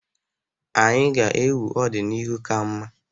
Anyị ga-ewu ọdịnihu ka mma.